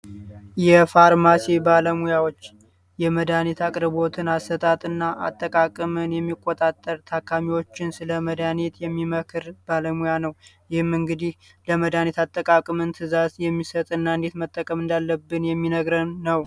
የፋርማሲ ባለሙያዎች የመድኃኒት አቅርቦት ፣አሰጣጥ እና አቀራርብን የሚቆጣጠር ታካሚዎችን ስለ መድኃኒት የሚመክር ባለሙያ ነው። ይህም እንግዲህ የመድሀኒት ትዕዛዝ የሚሰጥ እና እንዴት መጠቀም እንዳለብን የሚነግረን ነው።